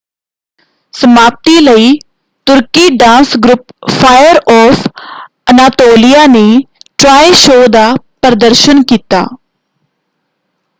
ਸਮਾਪਤੀ ਲਈ ਤੁਰਕੀ dance group fire of Anatolia ਨੇ ਟ੍ਰਾਇ ਸ਼ੋਅ ਦਾ ਪ੍ਰਦਰਸ਼ਨ ਕੀਤਾ।